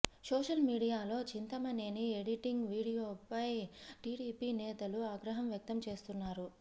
social మీడియాలో Chintamaneni editing వీడియోపై టీడీపీ నేతలు ఆగ్రహం వ్యక్తం చేస్తున్నారు